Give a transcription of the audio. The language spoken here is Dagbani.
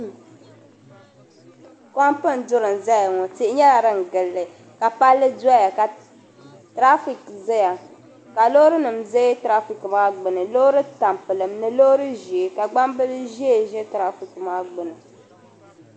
Kompeni duri n zaya ŋɔ tihi nyela din gili li ka palli doya ka teraafik zaya ka loorinim deei teraafikmaa gbuni loori tampiliŋ ni loori ʒee ka gbambili ʒee ʒi teraafik maa gbuni.